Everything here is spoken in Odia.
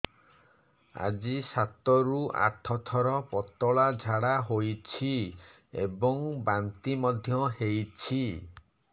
ଆଜି ସାତରୁ ଆଠ ଥର ପତଳା ଝାଡ଼ା ହୋଇଛି ଏବଂ ବାନ୍ତି ମଧ୍ୟ ହେଇଛି